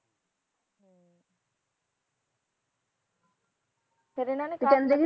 ਫਿਰ ਇਹਨੇ ਨੇ ਕਹਿੰਦੇ ਸੀ